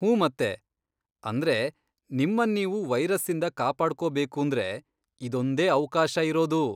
ಹೂಂ ಮತ್ತೆ! ಅಂದ್ರೆ ನಿಮ್ಮನ್ನೀವು ವೈರಸ್ಸಿಂದ ಕಾಪಾಡ್ಕೊಬೇಕೂಂದ್ರೆ ಇದೊಂದೇ ಅವ್ಕಾಶ ಇರೋದು.